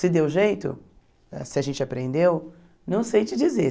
Se deu jeito, se a gente aprendeu, não sei te dizer.